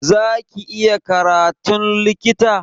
Za ki iya karatun likita?